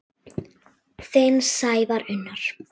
Þinn Sævar Unnar.